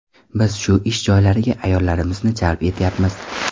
Biz shu ish joylariga ayollarimizni jalb etyapmiz.